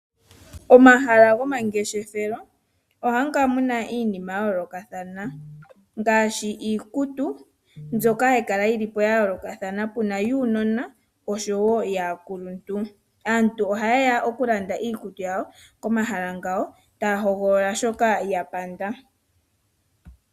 Omahala gomageshefelo ohamu kala muna iinima ya yoolokathana ngaashi iikutu mbyoka hayi kala ya yoolokathana, puna yuunona oshowo yaakuluntu. Aantu ohaye ya okulanda iikutu yawo komahala ngoka, taya hogolola shoka ya panda.